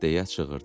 deyə çığırdı.